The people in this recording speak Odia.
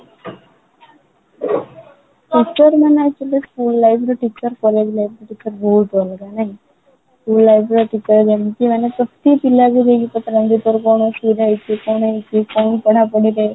teacher ମାନେ actually school life ରେ teacher college life ରେ teacher ବହୁତ ଅଲଗା ଜାଣିଛୁ school life ର teacher ମାନେ ପ୍ରତି ପିଲାଙ୍କୁ ପଚାରନ୍ତି ତୋର କ'ଣ ଅସୁବିଧା ହେଇଛି କ'ଣ ହେଇଛି କ'ଣ ପଢା ପଢି କରୁଛୁ ?